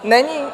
Není?